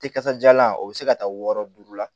Tɛ kasajalan o be se ka taa wɔɔrɔ duuru la